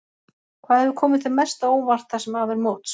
Hvað hefur komið þér mest á óvart það sem af er móts?